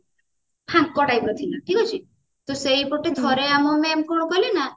ଫାଙ୍କ type ର ଥିଲା ଠିକ ଅଛି ତ ସେଇପଟେ ଥରେ ଆମ mam କଣ କଲେ ନା